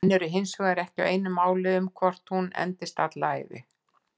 Menn eru hinsvegar ekki á einu máli um hvort hún endist alla ævi.